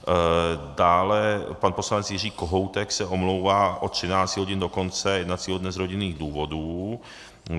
Dále pan poslanec Jiří Kohoutek se omlouvá od 13 hodin do konce jednacího dne z rodinných důvodů.